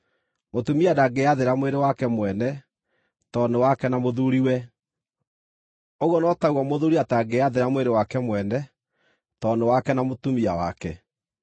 Mũtumia ndangĩĩathĩra mwĩrĩ wake mwene, tondũ nĩ wake na mũthuuriwe. Ũguo no taguo mũthuuri atangĩĩathĩra mwĩrĩ wake mwene, tondũ nĩ wake na mũtumia wake.